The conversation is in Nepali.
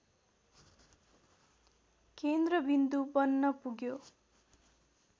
केन्द्रविन्दु बन्नपुग्यो